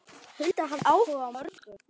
Hulda hafði áhuga á mörgu.